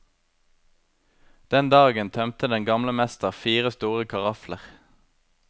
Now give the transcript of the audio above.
Den dagen tømte den gamle mester fire store karafler.